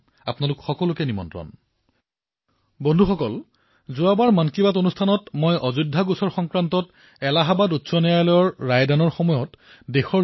বন্ধুসকল যোৱা সংখ্যাৰ মন কী বাতত মই ২০১০ চনৰ অযোধ্যা গোচৰ সংক্ৰান্ত এলাহাবাদৰ উচ্চ ন্যায়ালয়ে প্ৰদান কৰা ৰায়ৰ বিষয়ে চৰ্চা কৰিছিলো আৰু মই কৈছিলো যে দেশে যিদৰে তেতিয়া শান্তি আৰু সম্প্ৰীতি বৰ্তাই ৰাখিছিল সিদ্ধান্ত প্ৰকাশৰ পূৰ্বে আৰু পিছতো